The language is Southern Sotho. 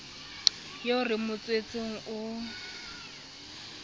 eo re mo tswetseng o